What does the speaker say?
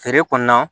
Feere kɔnɔna